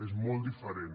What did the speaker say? és molt diferent